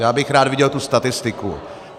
Já bych rád viděl tu statistiku.